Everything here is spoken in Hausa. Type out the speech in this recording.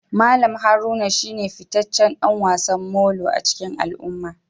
Mallam Haruna shine fitaccen dan wasan Molo a cikin al'umma